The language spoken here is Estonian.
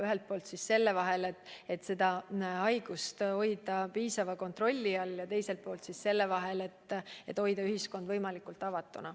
Ühelt poolt on vajadus haiguse levikut piisava kontrolli all hoida, teiselt poolt on vaja hoida ühiskond võimalikult avatuna.